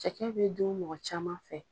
Cɛkɛ bɛ dun mɔgɔ caman fɛ.